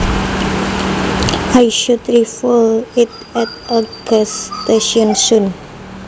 I should refuel it at a gas station soon